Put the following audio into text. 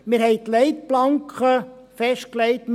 Wir haben die Leitplanken festgelegt.